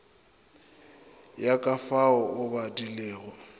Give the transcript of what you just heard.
ya ka fao o badilego